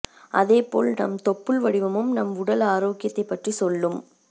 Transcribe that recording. அதேப் போல் நம் தொப்புள் வடிவமும் நம் உடல் ஆரோக்கியத்தைப் பற்றி சொல்லும்